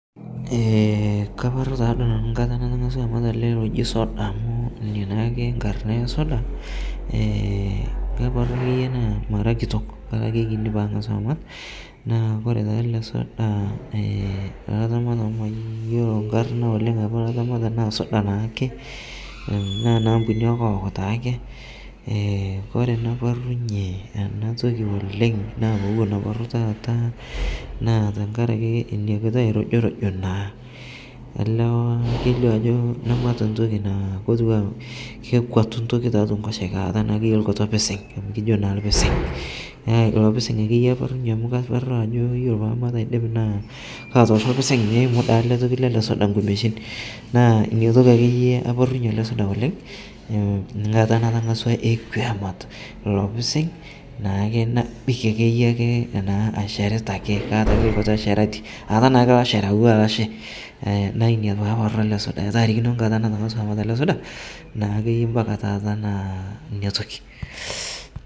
kaporor naa nanu nkata nemenyori oleng' najji soda ina naake nkarn nayii soda mara kitok kake ore taa elesoda naa iyolo inkarn oleng' olaramatani naa suda naa ake naa ena ampuni ee coke naa ake ore enaparlunye ena toki oleng' naa inakiti oirujurujo naa elee kelio ajo namaata intoki naa kekuatu entoki tiatua enkosheke nakataaa naake ekuatu orpising' kijo naa oorpising' nee ilo pising' ake iye amu karuata ajo olaramatani olidim naa keiu,u ele suda inkumeshin naa ina toki ake iye apoortunye suda oleng' ilo pising' nabikie ake iye naa ashereta ake aata naa ake ilo sherati naa ina paaportu ele suda etaa arikino enkata naake mpaka taata naa ina toki.